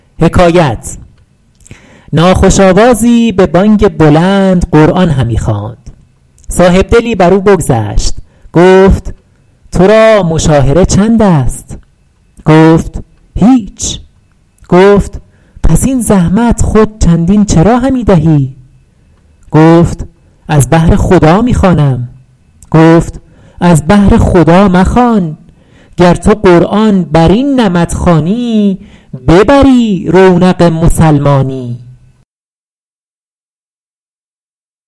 ناخوش آوازی به بانگ بلند قرآن همی خواند صاحبدلی بر او بگذشت گفت تو را مشاهره چند است گفت هیچ گفت پس این زحمت خود چندین چرا همی دهی گفت از بهر خدا می خوانم گفت از بهر خدا مخوان گر تو قرآن بر این نمط خوانی ببری رونق مسلمانی